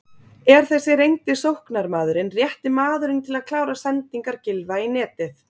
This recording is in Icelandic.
Er þessi reyndi sóknarmaðurinn rétti maðurinn til að klára sendingar Gylfa í netið?